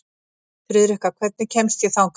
Friðrikka, hvernig kemst ég þangað?